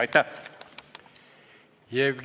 Aitäh!